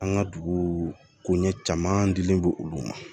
An ka dugu koɲɛ caman dilen don olu ma